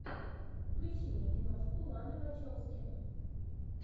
включи мне киношку ланы вачовски